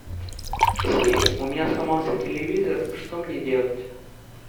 сири у меня сломался телевизор что мне делать